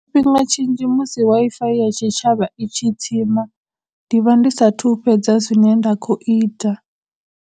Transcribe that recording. Tshifhinga tshinzhi musi Wi-Fi ya tshitshavha i tshi tsima, ndi vha ndi sathu fhedza zwine nda khou ita.